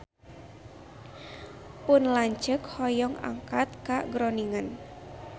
Pun lanceuk hoyong angkat ka Groningen